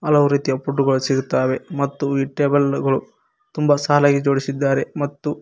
ಹಲವು ರೀತಿಯ ಫುಡ್ ಗಳು ಸಿಗುತ್ತವೆ ಮತ್ತು ಈ ಟೇಬಲ್ ಗಳು ತುಂಬಾ ಸಾಲಾಗಿ ಜೋಡಿಸಿದ್ದಾರೆ ಮತ್ತು.